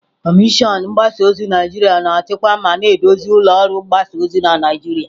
Kọmishọna mgbasa ozi Naijiria na-achịkwa ma na-eduzi ụlọ ọrụ mgbasa ozi na Naijiria.